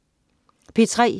P3: